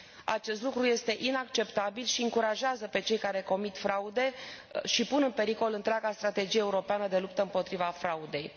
Acest lucru este inacceptabil și îi încurajează pe cei care comit fraude și pun în pericol întreaga strategie europeană de luptă împotriva fraudei.